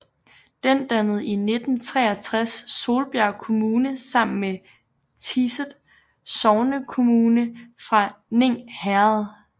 Den dannede i 1963 Solbjerg Kommune sammen med Tiset sognekommune fra Ning Herred